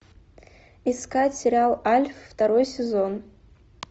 искать сериал альф второй сезон